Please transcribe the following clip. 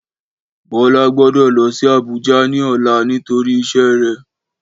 Bọlá gbọ́dọ̀ lọ sí Àbújá ní ọ̀la nítorí iṣẹ́ rè